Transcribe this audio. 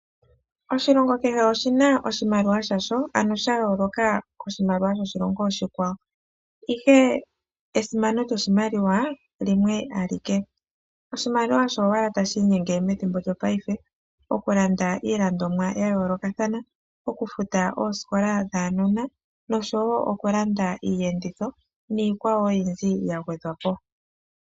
Oshilongo kehe oshina oshimaliwa shasho, ano sha yooloka ko shimaliwa sho shilongo oshi kwawo. Ihe esimano lyo shimaliwa limwe alike, oshimaliwa osho ashike tashi inyenge methimbo lyo paife oku landa iilandomwa ya yooloka thana, oku futa oosikola dhaanona noshowo oku landa iiyenditho niikwawo oyindji ya gwedhwa po.